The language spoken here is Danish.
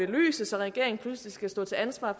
belyst så regeringen pludselig skal stå til ansvar